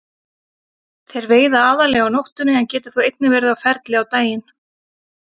Þeir veiða aðallega á nóttunni en geta þó einnig verið á ferli á daginn.